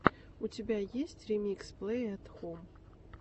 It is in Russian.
у тебя есть ремикс плэй эт хом